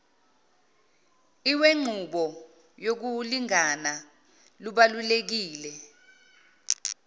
lwenqubo yokulingana lubalulekile